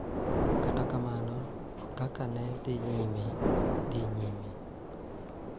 Kata kamano, kaka ne dhi nyime dhi nyime, .